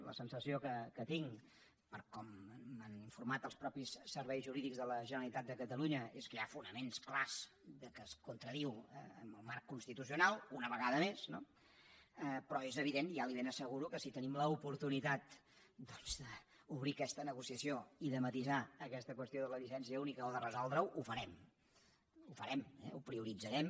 la sensació que tinc per com m’han informat els mateixos serveis jurídics de la generalitat de catalunya és que hi ha fonaments clars que es contradiu amb el marc constitucional una vegada més no però és evident ja li ho ben asseguro que si tenim l’oportunitat d’obrir aquesta negociació i de matisar aquesta qüestió de la llicència única o de resoldre ho ho farem ho farem ho prioritzarem